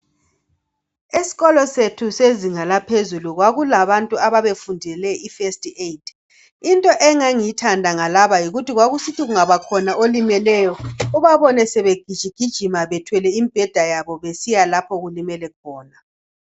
Eskolo sethu sezinga laphezulu kwakulabantu ababefundele ifirst aid, into engangigithanda ngalaba yikuthi kwakusithi kungabakhona olimeleyo ubabone sebegijigijima bethwele imbheda yabo besiya lapho okulimele khona.